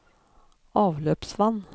avløpsvann